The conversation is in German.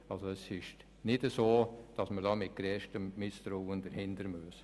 Man muss diese also nicht mit grösstem Misstrauen betrachten.